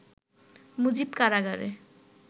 'মুজিব কারাগারে